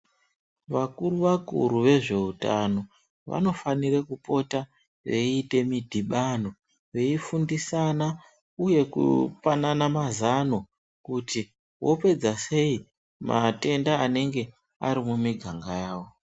Vakuru vakuru vezveutano vanofanira kupota veiite midhibano veifundisana uye kupanana mazano kuti vopedza sei matenda anenge ari mumiganga yavo.